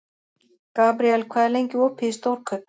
Gabriel, hvað er lengi opið í Stórkaup?